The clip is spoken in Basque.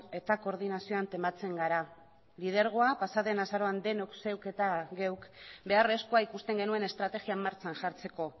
eta koordinazio an tematzen gara lidergoa pasaden azaroan denok zeuk eta geuk beharrezkoa ikusten genuen estrategia martxan jartzeko